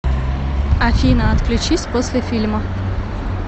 афина отключись после фильма